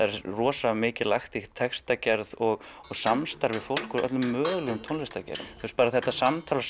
er rosa mikið lagt í textagerð og samstarf við fólk úr öllum mögulegum tónlistargeirum bara þetta samtal og